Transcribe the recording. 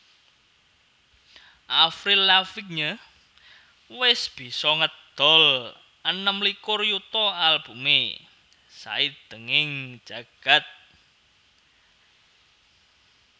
Avril Lavigne wis bisa ngedol enem likur yuta albumé saindenging jagad